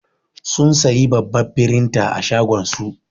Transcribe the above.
Sun sayi babbar firinta a shagon su